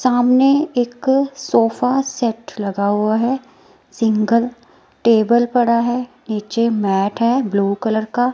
सामने एक sofa set लगा हुआ है सिंगल टेबल पड़ा है नीचे मैट है ब्लू कलर का।